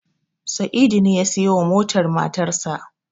Sa'idu ne ya siyowa motar matarsa.